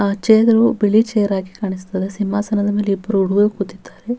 ಆ ಚೇರು ಬಿಳಿ ಚೇರ್ ಆಗಿ ಕಾಣಿಸುತ್ತದೆ ಸಿಂಹಾಸನದ ಮೇಲೆ ಇಬ್ಬರು ಹುಡುಗರು ಕೂತಿದ್ದಾರೆ.